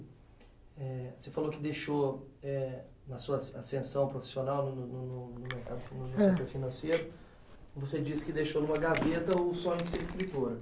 eh você falou que deixou, eh, na sua ascensão profissional no no no ãh, no mercado financeiro, você disse que deixou numa gaveta o sonho de ser escritora.